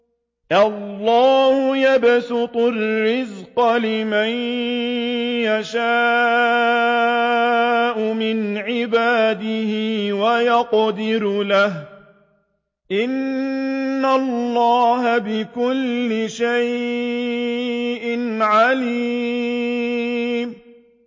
اللَّهُ يَبْسُطُ الرِّزْقَ لِمَن يَشَاءُ مِنْ عِبَادِهِ وَيَقْدِرُ لَهُ ۚ إِنَّ اللَّهَ بِكُلِّ شَيْءٍ عَلِيمٌ